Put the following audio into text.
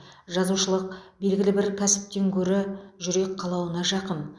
жазушылық белгілі бір кәсіптен гөрі жүрек қалауына жақын